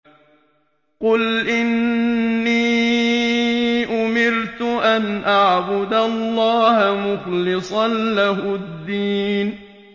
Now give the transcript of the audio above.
قُلْ إِنِّي أُمِرْتُ أَنْ أَعْبُدَ اللَّهَ مُخْلِصًا لَّهُ الدِّينَ